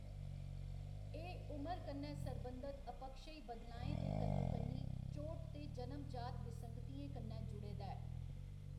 एह्‌‌ उमर कन्नै सरबंधत अपक्षयी बदलाएं दे कन्नोकन्नी चोट ते जनम जात विसंगतियें कन्नै जुड़े दा ऐ।